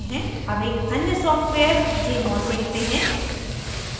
अब एक अन्य सॉफ्टवेयरjmol देखते हैं